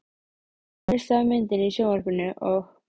Ég missi af myndinni í sjónvarpinu og.